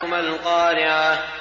مَا الْقَارِعَةُ